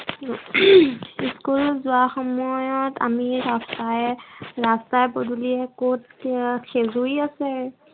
school যোৱাৰ সময়ত আমি আটায়ে ৰাস্তা পদূলিয়ে কত কি খেজুৰী আছে।